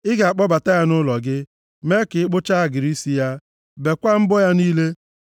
Ị ga-akpọbata ya nʼụlọ gị, mee ka ọ kpụcha agịrị isi ya, bekwaa mbọ ya niile,